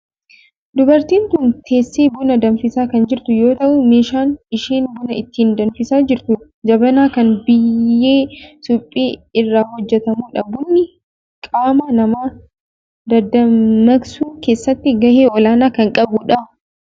Dubartiin tun teessee buna danfisaa kan jirtu yoo ta'u meeshaan isheen buna ittin danfisaa jirtu jabanaa kan biyyee suphee irraa hojjetamudha. Bunni qaama namaa dadammaksuu keessatti gahee olaanaa kan qabudha.